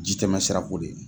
Ji tɛmɛ sira ko de.